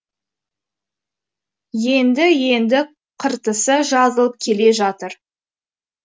енді енді қыртысы жазылып келе жатыр